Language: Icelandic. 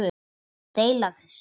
Deila þessu